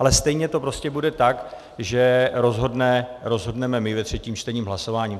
Ale stejně to prostě bude tak, že rozhodneme my ve třetím čtení hlasováním.